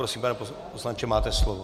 Prosím, pane poslanče, máte slovo.